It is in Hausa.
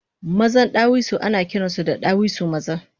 Mazan ɗawisu anakiransu da ɗawisu maza